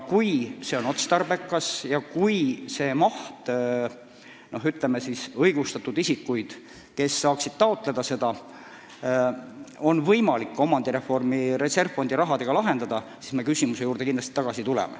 Kui see on otstarbekas ja kui õigustatud isikud, kes võiksid seda raha taotleda, saaksid omandireformi reservfondi rahaga oma mured lahendada, siis me tuleme küsimuse juurde kindlasti tagasi.